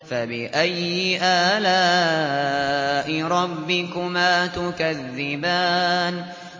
فَبِأَيِّ آلَاءِ رَبِّكُمَا تُكَذِّبَانِ